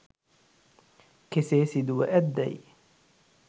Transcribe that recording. කෙසේ සිදුව ඇත්දැයි